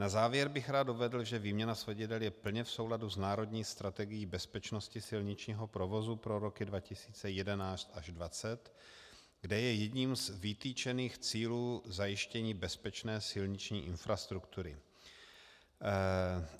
Na závěr bych rád uvedl, že výměna svodidel je plně v souladu s národní strategií bezpečnosti silničního provozu pro roky 2011 až 2020, kde je jedním z vytyčených cílů zajištění bezpečné silniční infrastruktury.